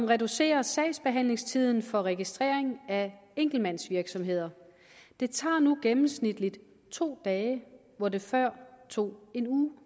reducerer sagsbehandlingstiden for registrering af enkeltmandsvirksomheder det tager nu gennemsnitligt to dage hvor det før tog en uge